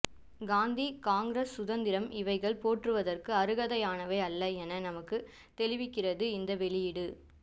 காந்தி காங்கிரஸ் சுதந்திரம் இவைகள் போற்றுவதற்கு அறுகதையானவை அல்ல என நமக்கு தெளிவிக்கிறது இந்த வெளியீடு